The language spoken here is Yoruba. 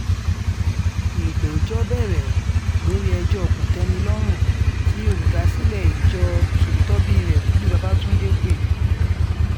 ìgbẹ́jọ́ bẹ̀rẹ̀ lórí ẹjọ́ kò-tẹ̀-mí-lọ́rùn tí olùdásílẹ̀ ìjọ ṣòtítọ́bírẹ̀ wòlíì babatúndé pé